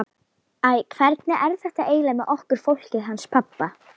Æ, hvernig er þetta eiginlega með okkur fólkið hans pabba?